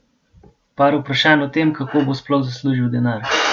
Pa vprašanj o tem, kako bo sploh zaslužil denar?